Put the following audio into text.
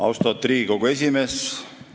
Austatud Riigikogu esimees!